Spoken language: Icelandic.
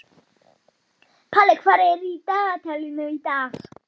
Honum er farið að förlast, gamla manninum.